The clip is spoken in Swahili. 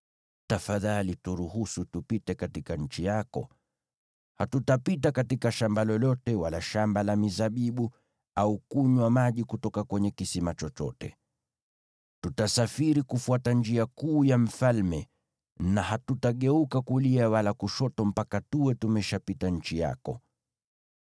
Tafadhali turuhusu tupite katika nchi yako. Hatutapita katika shamba lolote, wala shamba la mizabibu, au kunywa maji kutoka kwenye kisima chochote. Tutasafiri kufuata njia kuu ya mfalme, na hatutageuka kulia wala kushoto mpaka tuwe tumeshapita nchi yako.”